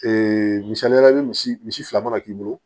misaliya la i bɛ misi misi fila mana k'i bolo